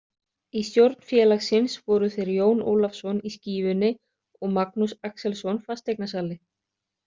Í stjórn félagsins voru þeir Jón Ólafsson í Skífunni og Magnús Axelsson fasteignasali.